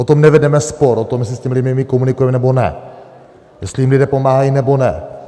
O tom nevedeme spor, o tom, jestli s těmi lidmi komunikujeme nebo ne, jestli jim lidé pomáhají nebo ne.